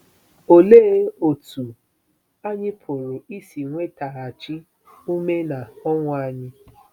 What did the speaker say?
Olee otú anyị pụrụ isi nwetaghachi ume na ọṅụ anyị?